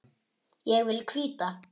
Ég vil hvíta.